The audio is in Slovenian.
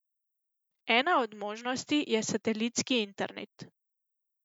Ena od možnosti je satelitski internet.